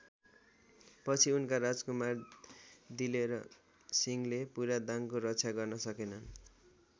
पछि उनका राजकुमार दिलेर सिंहले पूरा दाङको रक्षा गर्न सकेनन्।